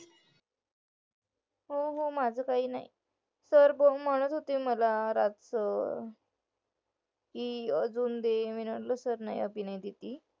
हो हो माझं काही नाही sir म्हणत होते मला अजून